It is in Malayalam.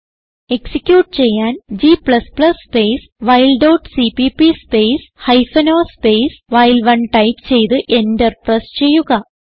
എക്സിക്യൂട്ട് ചെയ്യാൻ g സ്പേസ് വൈൽ dot CPP space hyphen o space വൈൽ1 ടൈപ്പ് ചെയ്ത് എന്റർ പ്രസ് ചെയ്യുക